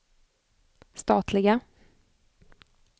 statliga